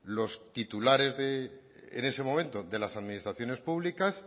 los titulares en ese momento de las administraciones públicas